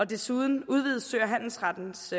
desuden udvides sø og handelsrettens